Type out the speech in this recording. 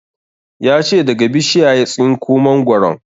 Ya ce daga bishiya ya tsinko mangoron